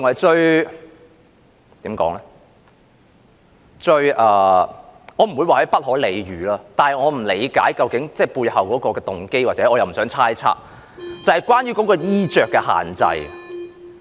該怎麼說，我不會說是不可理喻，但我不理解背後的動機，而我又不想猜測，就是關於衣着的限制。